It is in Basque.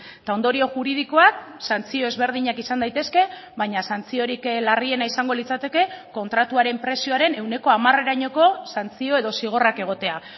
eta ondorio juridikoak santzio ezberdinak izan daitezke baina santziorik larriena izango litzateke kontratuaren prezioaren ehuneko hamarerainoko santzio edo zigorrak egotea